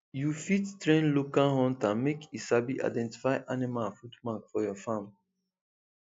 you fit train local hunter make e sabi identify animal footmark for your farm